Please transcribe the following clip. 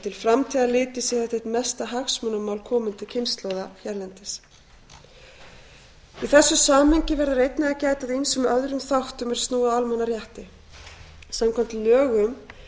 til framtíðar litið sé þetta eitt mesta hagsmunamál komandi kynslóða hérlendis í þessu samhengi verður einnig að gæta að ýmsum öðrum þáttum er snúa að almannarétti samkvæmt lögum